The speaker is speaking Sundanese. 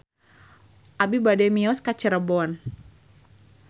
Abi bade mios ka Cirebon